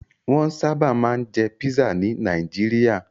Wọ́n sábà máa ń jẹ pisa ní Nàìjíríà.